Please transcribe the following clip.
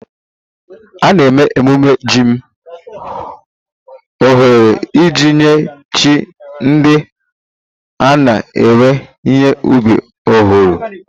A na-eme ememe jim ọhụrụ iji nye chi ndị a na-ewe ihe ubi ọhụrụ